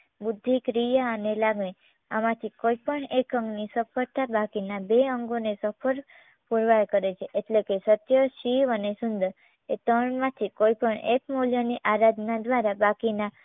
બુદ્ધિ ક્રિયા અને લાગણી આમાંથી કોઈપણ એક અંગની સફળતા બાકીના બે અંગોને સફળ પૂરવાર કરે છે. એટલે કે સત્ય, શિવ, અને સુંદર એ ત્રણમાંથી કોઈપણ એક મૂલ્યની આરાધના દ્વારા બાકી ના